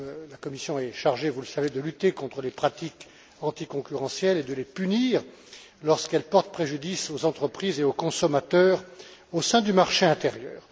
La Commission est chargée, vous le savez, de lutter contre les pratiques anticoncurrentielles et de les punir lorsqu'elles portent préjudice aux entreprises et aux consommateurs au sein du marché intérieur.